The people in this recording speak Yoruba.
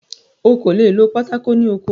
O kò le è lo pátákó ní oko.